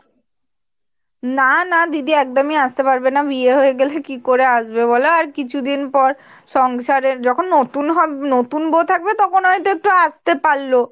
না না দিদি একদমই আস্তে পারবে না বিয়ে হয়ে গেলে কিকরে আসবে বলো আর কিছুদিন পর সংসারে যখন নতুন হবে নতুন বৌ থাকবে তখন হয়তো একটু আসতে পারল।